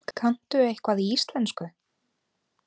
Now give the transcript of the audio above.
Kanntu eitthvað í íslensku?